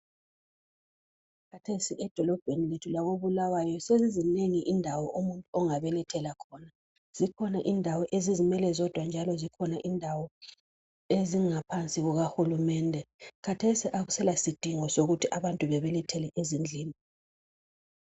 Khathesi edolobheni lethu lakoBulawayo sezizinengi indawo umuntu ongabelethela khona, zikhona indawo ezizimele zodwa kanti zikhona indawo ezingaphansi kukahulumende. Khathesi akusela sidingo sokuthi abantu bebelethele ezindlini